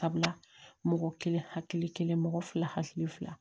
Sabula mɔgɔ kelen hakili kelen mɔgɔ fila hakili fila